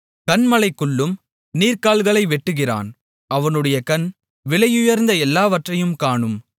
கன்மலைகளுக்குள்ளும் நீர்க்கால்களை வெட்டுகிறான் அவனுடைய கண் விலையுயர்ந்த எல்லாவற்றையும் காணும்